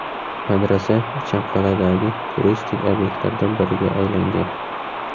Madrasa Ichanqal’adagi turistik obyektlardan biriga aylangan.